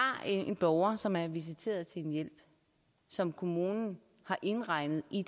en borger som er visiteret til en hjælp som kommunen har indregnet i